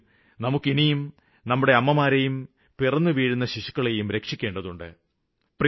എങ്കിലും നമുക്ക് ഇനിയും നമ്മുടെ അമ്മമാരേയും പിറന്നുവീഴുന്ന ശിശുക്കളേയും രക്ഷിക്കേണ്ടതുണ്ട്